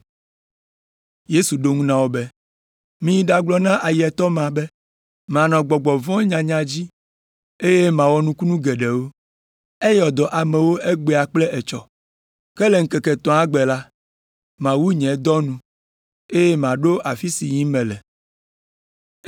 Yesu ɖo eŋu na wo be, “Miyi ɖagblɔ na ayetɔ ma be manɔ gbɔgbɔ vɔ̃wo nyanya dzi, eye mawɔ nukunu geɖewo, ayɔ dɔ amewo egbea kple etsɔ. Ke le ŋkeke etɔ̃a gbe la, mawu nye dɔ nu, eye maɖo afi si yim mele.